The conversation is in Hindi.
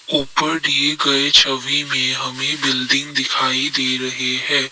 ऊपर दिए गए छवि में हमें बिल्डिंग दिखाई दे रही है।